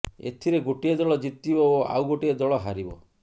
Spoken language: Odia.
ଏଥିରେ ଗୋଟିଏ ଦଳ ଜିତିବ ଓ ଆଉ ଗୋଟିଏ ଦଳ ହାରିବ